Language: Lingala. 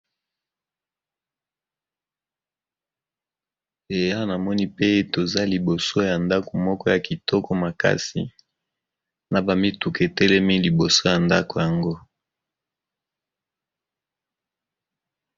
Awa namoni pe toza liboso ya ndako moko ya kitoko makasi na ba mutuka etelemi liboso ya ndako yango.